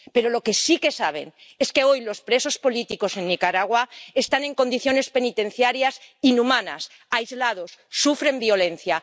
Pero lo que sí que saben es que hoy los presos políticos en Nicaragua están en condiciones penitenciarias inhumanas, aislados, y sufren violencia.